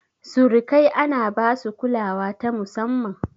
Surikai ana basu kulawa ta musamman.